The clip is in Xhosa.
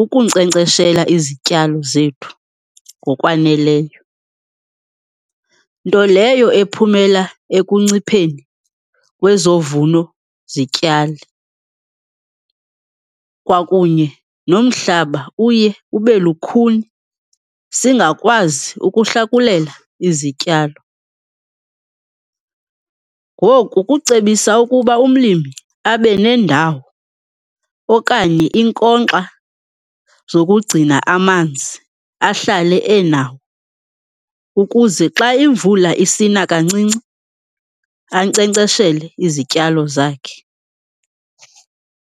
ukunkcenkceshela izityalo zethu ngokwaneleyo. Nto leyo ephumela ekuncipheni kwezovuno zityalo kwakunye nomhlaba, uye ube lukhuni, singakwazi ukuhlakulela izityalo. Ngoku kucebisa ukuba umlimi abe nendawo okanye iinkonkxa zokugcina amanzi ahlale enawo ukuze xa imvula isina kancinci ankcenkceshele izityalo zakhe.